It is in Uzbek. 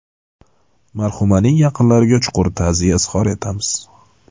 Marhumaning yaqinlariga chuqur ta’ziya izhor etamiz.